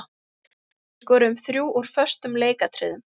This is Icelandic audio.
Við skoruðum þrjú úr föstum leikatriðum.